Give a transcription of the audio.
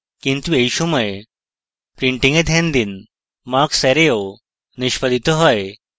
কিন্তু এই সময় printing এ ধ্যান দিন marks array ও নিষ্পাদিত হয়